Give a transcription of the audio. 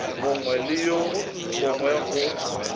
mongwe le wo mongwe go